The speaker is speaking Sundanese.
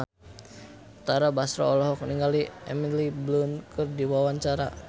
Tara Basro olohok ningali Emily Blunt keur diwawancara